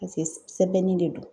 sɛbɛnni de don.